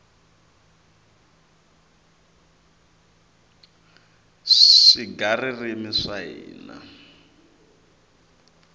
swigaririmi swa hina